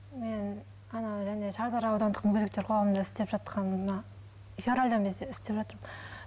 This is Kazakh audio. мен шардара аудандық мүгедектер қоғамында істеп жатқаныма февральдан істеп жатырмын